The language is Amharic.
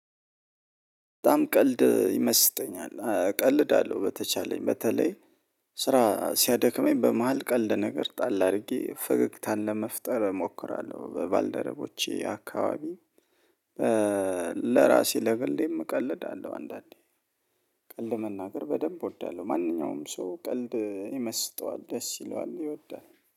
በጣም ቀልድ ይመስጠኛል ቀልድአለው በተቻለኝ በተለይ ስራ ሲያደክመኝ በመሃል ቀልድ ነገር ጣል አድርጌ ፈገግታን ለመፍጠር እሞክራለሁ በባልደረቦቼ አካባቢ። ለራሴ ለገሌም እቀልዳለሁ አንዳንዴ ቀልድ መናገር በደንብ እወዳለሁ። ማንኛውም ሰው ቀልድ ይመስጠዋል ደስ ይለዋል ይወዳል